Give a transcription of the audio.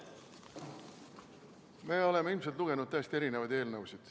Me oleme ilmselt lugenud täiesti erinevaid eelnõusid.